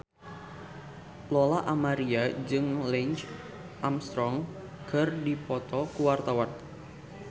Lola Amaria jeung Lance Armstrong keur dipoto ku wartawan